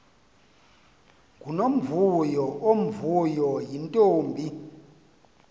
ngunomvuyo omvuyo yintombi